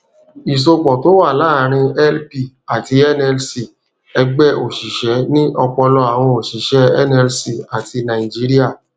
ìsopọ tó wà láàrin lp àti nlc ẹgbẹ òṣìṣẹ ni ọpọlọ àwọn òṣìṣẹ nlc àti nàìjíríà